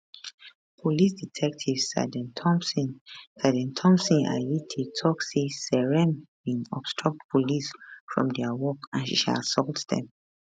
police detective sergeant thomson sergeant thomson ayitey tok say seyram bin obstruct police from dia work and she assault dem